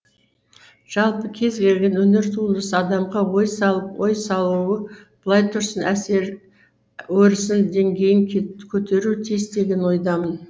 жалпы кез келген өнер туындысы адамға ой салып ой салуы былай тұрсын өресін деңгейін көтеруі тиіс деген ойдамын